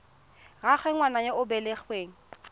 rraagwe ngwana yo o belegweng